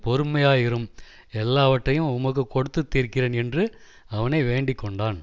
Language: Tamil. பொறுமையாயிரும் எல்லாவற்றையும் உமக்குக் கொடுத்து தீர்க்கிறேன் என்று அவனை வேண்டிக்கொண்டான்